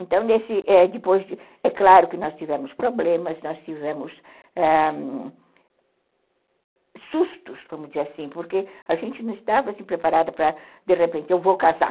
Então, é claro que nós tivemos problemas, nós tivemos ãh sustos, vamos dizer assim, porque a gente não estava preparada para, de repente, eu vou casar.